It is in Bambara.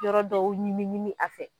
Yɔrɔ dɔw ɲimi ɲimi a fɛ